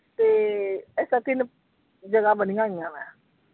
ਤੇ ਇਸਤਰਾਂ ਤਿੰਨ ਜਗ੍ਹਾ ਬਣੀਆਂ ਹੋਈਆਂ ਵਾ ।